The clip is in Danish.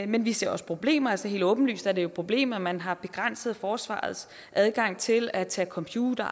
men vi ser også problemer altså helt åbenlyst er det jo et problem at man har begrænset forsvarets adgang til at tage computer